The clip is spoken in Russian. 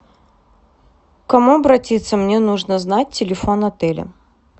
к кому обратиться мне нужно знать телефон отеля